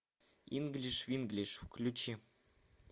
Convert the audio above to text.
инглиш винглиш включи